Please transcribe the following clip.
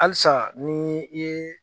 Halisa ni i ye